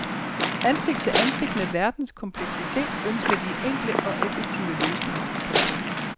Ansigt til ansigt med verdens kompleksitet ønsker de enkle og effektive løsninger. punktum